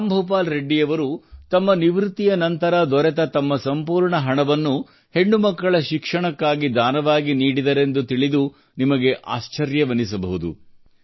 ರಾಮ್ ಭೂಪಾಲ್ ರೆಡ್ಡಿ ಅವರು ತಮ್ಮ ನಿವೃತ್ತಿಯ ನಂತರ ದೊರೆಯುವ ತಮ್ಮ ಸಂಪೂರ್ಣ ಹಣವನ್ನು ಹೆಣ್ಣುಮಕ್ಕಳ ಶಿಕ್ಷಣಕ್ಕಾಗಿ ದಾನವಾಗಿ ನೀಡಿದರೆಂದು ತಿಳಿದು ನಿಮಗೆ ಆಶ್ಚರ್ಯವೆನಿಸಬಹುದು